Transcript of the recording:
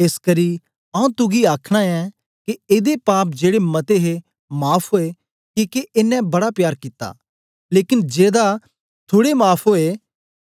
एसकरी आऊँ तुगी आखना ऐं के एदे पाप जेड़े मते हे माफ़ ओए किके एनें बड़ा प्यार कित्ता लेकन जेदा थुड़े माफ़ ओया ऐ